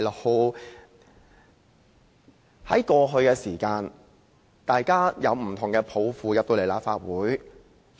過去，大家抱着不同的抱負進入立法會。